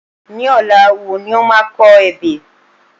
Ní ọ̀la wo ni o máa kọ ebè?